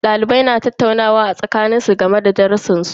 Dalibai na tattaunawa a tsakanin su game da darrusan su.